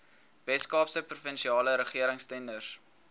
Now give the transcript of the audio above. weskaapse provinsiale regeringstenders